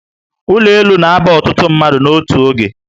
Ụlọ elu na aba ọtụtụ mmadụ n'otu oge